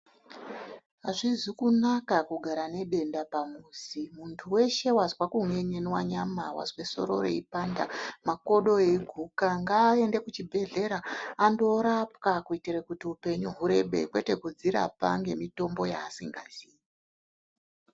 Azvizi kunaka kugara nedenda pamuzi. Muntu weshe wazwa kun'en'enwa nyama, wazve doro reipanda kana makodo eiguka ngaaende kuchibhedhlera andorapwa kuitire kuti upenyu hurebe kwete kudzirapa ngemitombo yaasikazii.